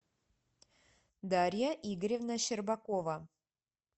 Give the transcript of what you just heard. дарья игоревна щербакова